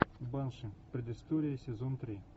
банши предыстория сезон три